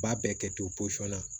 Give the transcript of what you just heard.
B'a bɛɛ kɛ to posɔn na